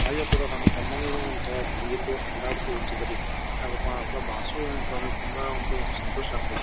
ಹಾಗೆ ಕೂಡಾ ನಮ್ಮ ತಮ್ಮನಿಗೂ ಒಂಥರಾ ಸಂಗೀತದ ಕಂಡಾಪಟಿ ಹುಚ್ಚು ಇದರಿ ಯಾಕಪ್ಪಾ ಅಂದ್ರ ಆತರ ಬರ್ಸದು ಅಂತ ಅಂದ್ರ ತುಂಬಾ ಒಂದು ಸಂತೋಷ ಆಗ್ತದ.